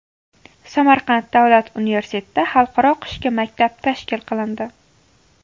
Samarqand davlat universitetida Xalqaro qishki maktab tashkil qilindi.